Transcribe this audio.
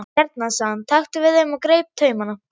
Hérna sagði hann, taktu við þeim og greip taumana.